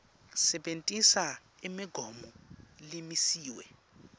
sebentisa imigomo lemisiwe